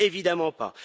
Évidemment pas.